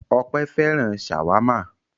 Ọpẹ́ fẹ́ràn ṣàwámà.